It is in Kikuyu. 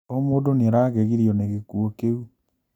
O mũndũ nĩaragegirio nĩ gĩkuũ kĩu